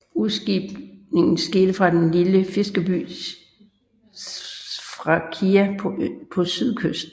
Udskibningen skete fra den lille fiskerhavn Sfakia på sydkysten